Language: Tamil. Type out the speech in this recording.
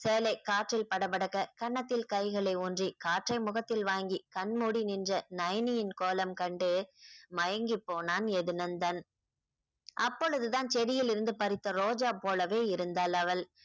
சேலை காற்றில் படபடக்க கன்னத்தில் கைகளை ஊன்றி காற்றை முகத்தில் வாங்கி கண் மூடி நின்ற நயனியின் கோலம் கண்டு மயங்கி போனான் எதுநந்தன் அப்பொழுதுதான் செடியில் இருந்து பறித்த ரோஜா போலவே இருந்தாள் அவள்